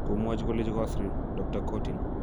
Komwachi koleji"koasiriin",Dr Courtine.